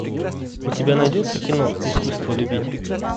у тебя найдется кино искусство любить